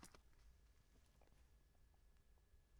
Fredag d. 7. august 2015